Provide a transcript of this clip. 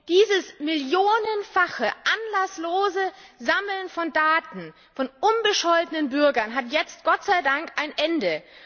Dieses millionenfache anlasslose Sammeln von Daten unbescholtener Bürger hat jetzt Gott sei Dank ein Ende.